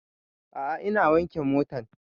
A'a ina wanke motan